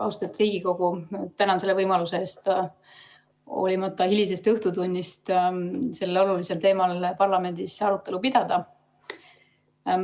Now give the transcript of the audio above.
Austatud Riigikogu, ma tänan selle võimaluse eest hoolimata hilisest õhtutunnist sellel olulisel teemal parlamendis arutelu pidada.